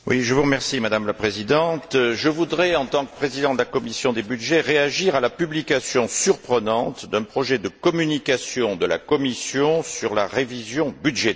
Madame la Présidente, je voudrais, en tant que président de la commission des budgets, réagir à la publication surprenante d'un projet de communication de la Commission sur la révision budgétaire.